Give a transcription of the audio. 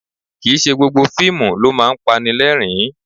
Kì í ṣe gbogbo fíìmù ló máa ń pani lẹ́rìn-ín